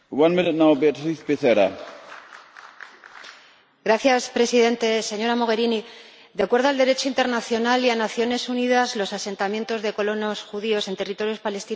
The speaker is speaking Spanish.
Señor Presidente, señora Mogherini, de acuerdo con el Derecho internacional y las Naciones Unidas, los asentamientos de colonos judíos en territorios palestinos son ilegales.